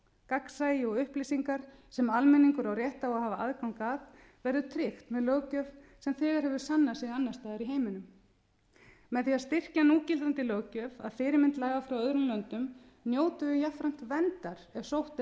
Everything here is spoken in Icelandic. gagnsæi og upplýsingar sem almenningur á rétt á að hafa aðgang að verður tryggt með löggjöf sem þegar hefur sannað sig annars staðar í heiminum með því að styrkja núgildandi löggjöf að fyrirmynd laga frá öðrum löndum njótum við jafnframt verndar ef sótt